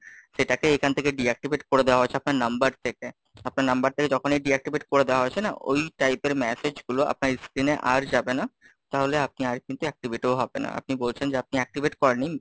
সেটাকে এখান থেকে Deactivate করে দেওয়া হয়েছে, আপনার number থেকে, আপনার number থেকে যখনই Deactivate করে দেওয়া হয়েছে না, ওই type এর message গুলো আপনার screen এ আর যাবে না, তাহলে আপনি আর কিন্তু activity ও হবে না, আপনি বলছেন যে আপনি activate করেননি।